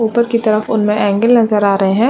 ऊपर की तरफ उनमें एंगल नजर आ रहे हैं।